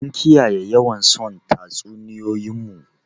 Mun kiyaye yawan son tatsuniyoyin mu?